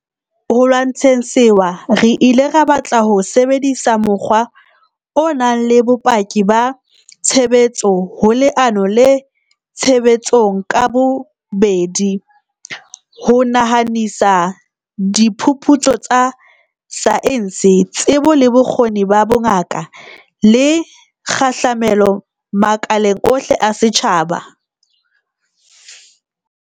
Ho lwantsheng sewa re ile ra batla ho sebedisa mokgwa o nang le bopaki ba tshebetso ho leano le tshebetsong ka bobedi, ho nahanisa diphuputso tsa saense, tsebo le bokgoni ba bongaka, le kgahlamelo makaleng ohle a setjhaba.